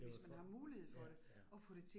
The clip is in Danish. Det jo for, ja, ja